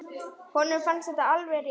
Honum fannst þetta alveg rétt.